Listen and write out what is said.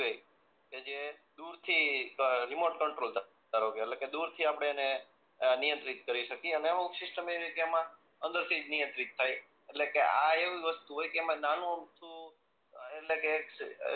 કે જે દુર થી રીમોટ કંટ્રોલ ધા ધારોકે એટલે કે દુર થી આપણે એને નિયંત્રિત કરી શકીયે અને અમુક સીસ્ટમ એવી જે એમાં અંદર થી જ નિયંત્રિત થાય એટલે કે આ એવી વસ્તુ હોય નાનું અમથું એટલે કે